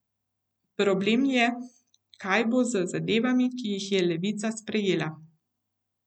Problem je, kaj bo z zadevami, ki jih je Levica sprejela.